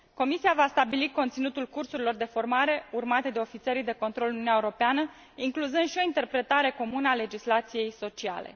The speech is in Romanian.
Comisia va stabili conținutul cursurilor de formare urmate de ofițerii de control în Uniunea Europeană, incluzând și o interpretare comună a legislației sociale.